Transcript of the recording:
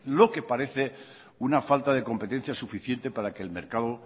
lo que parece una falta de competencia suficiente para que el mercado